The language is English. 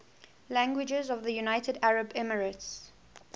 languages of the united arab emirates